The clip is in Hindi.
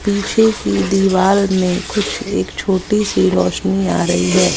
पिछे की दीवार में कुछ एक छोटी सी रोशनी आ रही है।